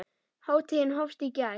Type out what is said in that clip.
Hátíðin hófst í gær.